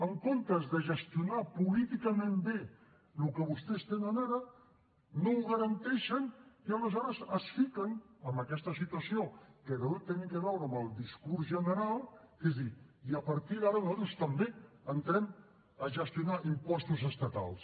en comptes de gestionar políticament bé el que vostès tenen ara no ho garanteixen i aleshores es fiquen en aquesta situació que deu tenir a veure amb el discurs general que és dir i a partir d’ara nosaltres també entrem a gestionar impostos estatals